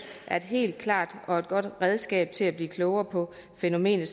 er et helt klart og godt redskab til at blive klogere på fænomenet